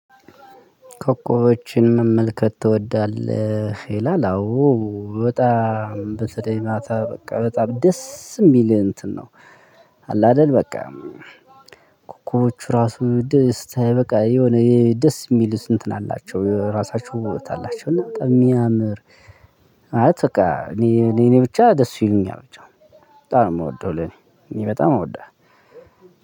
ኮከቦችን መመልከት ትወዳለህ ይላል አዎ በጣም በተለይ ማታ በቃ በጣም ደስ የሚል እንትን ነው። አለ አይደል በቃ ኮኮቦቹ ራሱ ደስታ በቃ የሆነ ደስ የሚሉት እንትን አላቸው ራሳቸው ውበት አላቸው። እና በጣም የሚያምር አለ። በቃ እኔ እኔ ብቻ ደስ ይሉኛል ብቻ በጣም ነው የምወደው። ለኔ እኔ በጣም አወደህ።